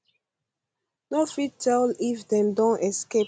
no fit tell tell if dem don escape